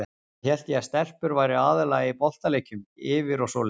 Svo hélt ég að stelpur væru aðallega í boltaleikjum, yfir og svoleiðis.